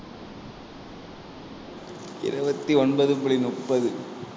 இருபத்தி ஒன்பது புள்ளி முப்பது.